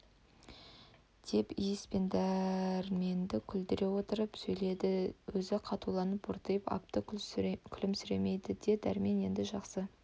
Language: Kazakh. деп иіс пен дәрменді күлдіре отырып сөйледі өзі қатуланып бүртиып апты күлімсіремейді де дәрмен енді жақсы